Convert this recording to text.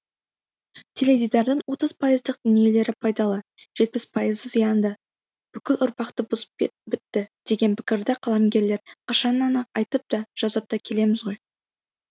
теледидардың отыз пайыздық дүниелері пайдалы жетпіс пайызы зиянды бүкіл ұрпақты бұзып бітті деген пікірді қаламгерлер қашаннан ақ айтып та жазып та келеміз ғой